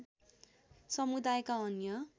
समुदायका अन्य